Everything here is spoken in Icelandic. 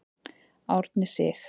Árni Sig.